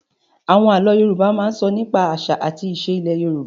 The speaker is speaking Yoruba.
Àwọn àlọ́ Yorùbá máa ń sọ nípa àṣà àti ìṣe ilẹ̀ Yorùbá